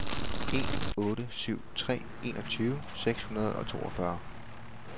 en otte syv tre enogtyve seks hundrede og toogfyrre